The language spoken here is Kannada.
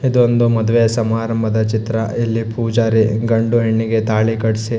ಇದೊಂದು ಮದುವೆ ಸಮಾರಂಭದ ಚಿತ್ರ ಇಲ್ಲಿ ಪೂಜಾರಿ ಗಂಡು ಹೆಣ್ಣಿಗೆ ತಾಳಿ ಕಟ್ಟ್ಸಿ --